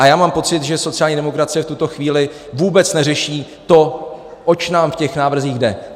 A já mám pocit, že sociální demokracie v tuto chvíli vůbec neřeší to, oč nám v těch návrzích jde.